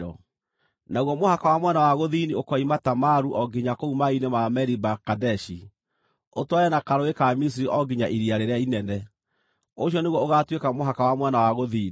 Naguo mũhaka wa mwena wa gũthini ũkoima Tamaru o nginya kũu maaĩ-inĩ ma Meriba-Kadeshi, ũtwarane na Karũũĩ ka Misiri o nginya Iria Rĩrĩa Inene. Ũcio nĩguo ũgaatuĩka mũhaka wa mwena wa gũthini.